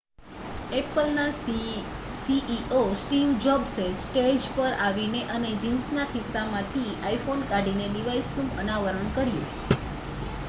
એપલના CEO Steve જોબ્સે stage પર આવીને અને જીન્સના ખિસ્સામાંથી iphone કાઢીને ડિવાઇસનું અનાવરણ કર્યું